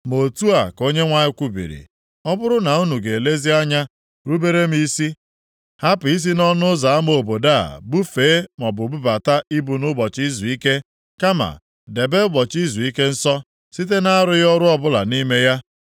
Ma otu a ka Onyenwe anyị kwubiri, ọ bụrụ na unu ga-elezi anya rubere m isi, hapụ isi nʼọnụ ụzọ ama obodo a bufee maọbụ bubata ibu nʼụbọchị izuike, kama debe ụbọchị izuike nsọ, site na-arụghị ọrụ ọbụla nʼime ya,